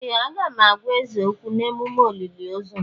Ee! Aga m agwa eze okwu n'ememme olili ozù.